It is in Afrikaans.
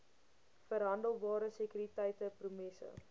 verhandelbare sekuriteite promesses